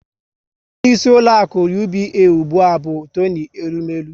Onyeisi ụlọaku UBA ụgbụa bụ Toni Elumelu